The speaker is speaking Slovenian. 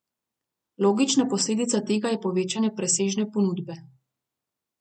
Logična posledica tega je povečanje presežne ponudbe.